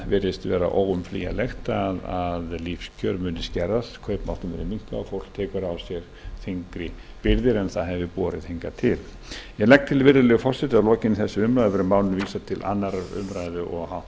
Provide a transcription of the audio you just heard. virðist vera óumflýjanlegt að lífskjör munu skerðast kaupmáttur mun skerðast og fólk tekur á sig þyngri byrðar en það hefur borið hingað til ég legg til virðulegi forseti að að lokinni þessari umræðu verði málinu vísað til annarrar umræðu og